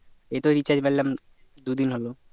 এই তো recharge মারলাম দুদিন হলো